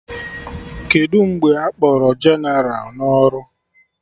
Kedụ mgbe akpọrọ jeneral na ọrụ?